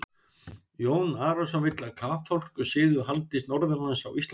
Jón Arason vill að kaþólskur siður haldist norðanlands á Íslandi.